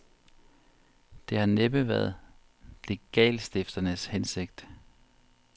Det har næppe været legatstifternes hensigt.